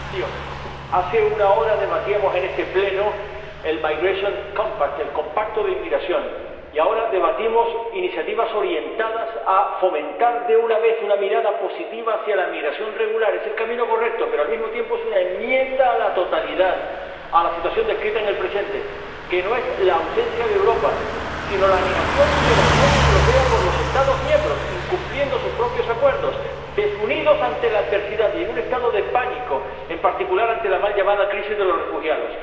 Señora Presidenta, hace una hora debatíamos en este Pleno el paquete sobre migración, y ahora debatimos iniciativas orientadas a fomentar, de una vez, una mirada positiva hacia la migración regular. Es el camino correcto, pero, al mismo tiempo, es una enmienda a la totalidad a la situación descrita en el presente, que no es la ausencia de Europa sino la negación de la Unión Europea por los Estados miembros, incumpliendo sus propios acuerdos, desunidos ante la adversidad y en un estado de pánico, en particular ante la mal llamada crisis de los refugiados.